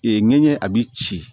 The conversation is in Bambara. Ee ɲɛɲɛ a bi ci